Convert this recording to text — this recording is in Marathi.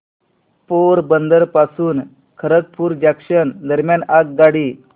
पोरबंदर पासून खरगपूर जंक्शन दरम्यान आगगाडी